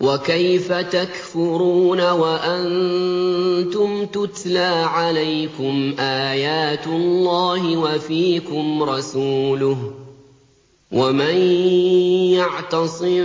وَكَيْفَ تَكْفُرُونَ وَأَنتُمْ تُتْلَىٰ عَلَيْكُمْ آيَاتُ اللَّهِ وَفِيكُمْ رَسُولُهُ ۗ وَمَن يَعْتَصِم